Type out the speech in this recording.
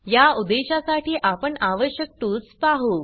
या उद्देशासाठी आपण आवश्यक टूल्स पाहु